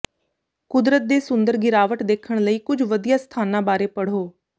ਕੁਦਰਤ ਦੇ ਸੁੰਦਰ ਗਿਰਾਵਟ ਦੇਖਣ ਲਈ ਕੁੱਝ ਵਧੀਆ ਸਥਾਨਾਂ ਬਾਰੇ ਪੜ੍ਹੋ